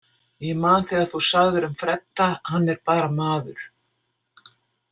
Ég man þegar þú sagðir um Fredda: hann er bara maður.